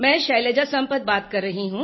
मैं शैलजा संपत बात कर रही हूँ